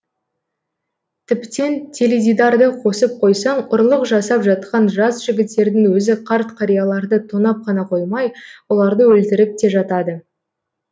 тіптен теледидарды қосып қойсаң ұрлық жасап жатқан жас жігіттердің өзі қарт қарияларды тонап қана қоймай оларды өлтіріп те жатады